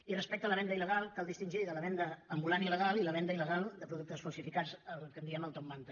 i respecte de la venda il·legal cal distingir de la venda ambulant il·legal i la venda ilcats el que en diem el top manta